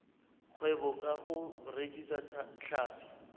kgwebo ka go rekisa tlhapi